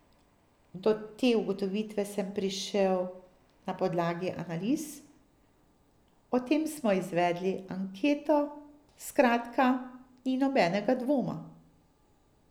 Do te ugotovitve sem prišel na podlagi analiz, o tem smo izvedli anketo, skratka, ni nobenega dvoma.